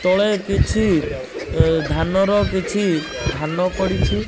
ତଳେ କିଛି ଏ ଧାନ ର କିଛି ଧାନ ପଡିଛି।